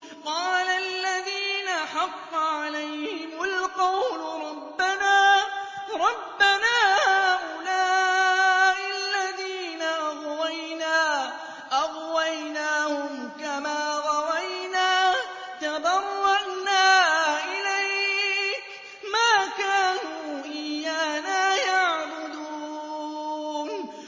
قَالَ الَّذِينَ حَقَّ عَلَيْهِمُ الْقَوْلُ رَبَّنَا هَٰؤُلَاءِ الَّذِينَ أَغْوَيْنَا أَغْوَيْنَاهُمْ كَمَا غَوَيْنَا ۖ تَبَرَّأْنَا إِلَيْكَ ۖ مَا كَانُوا إِيَّانَا يَعْبُدُونَ